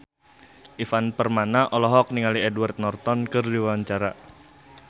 Ivan Permana olohok ningali Edward Norton keur diwawancara